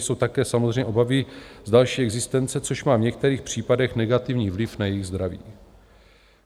jsou také samozřejmě obavy z další existence, což má v některých případech negativní vliv na jejich zdraví.